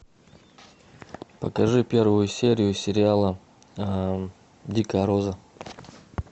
покажи первую серию сериала дикая роза